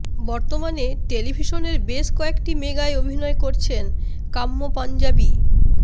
বর্তমানে টেলিভিশনের বেশ কয়েকটি মেগায় অভিনয় করছেন কাম্য পঞ্জাবি